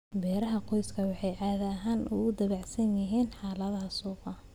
Beeraha qoysku waxay caadi ahaan aad ugu dabacsan yihiin xaaladaha suuqa.